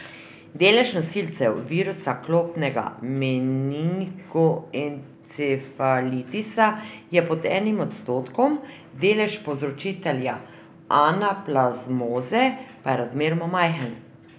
Delež nosilcev virusa klopnega menigoencefalitisa je pod enim odstotkom, delež povzročitelja anaplazmoze pa je razmeroma majhen.